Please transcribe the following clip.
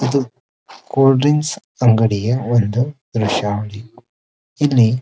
ಇದು cold drinks ಅಂಗಡಿ ಒಂದು ದ್ರಷ್ಯ --